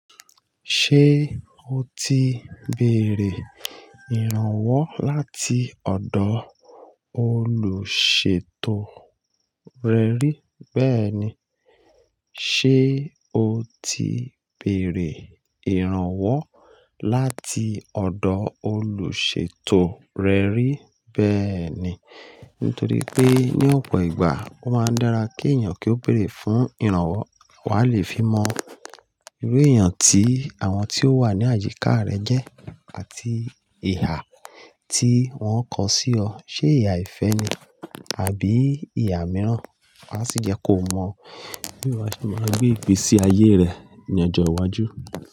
Ṣé o ti béèrè ìrànwọ́ láti ọ̀dọ̀ olùṣètò rẹ rí? Bẹ́ẹ̀ni. Ṣé o ti bèrè ìrànwọ́ láti ọ̀dọ̀ olùṣètò rẹ rí bẹ́ẹ̀ni? Nítorí pé ní ọ̀pọ̀ ìgbà, ó máa ń dára kí èèyàn kí ó béèrè fún ìrànwọ́, wá lè fi mọ irú èèyàn tí àwọn tí ó wà ní àyíká rẹ jẹ́ àti ihà tí wọ́n kọ sí ọ. Ṣé ìhà ìfẹ́ ni àbí ìhà mìíràn? Wá sì jẹ́ kó mọ bí wọn ṣe máa gbé ìgbésí ayé rẹ ní ọjọ́ iwájú.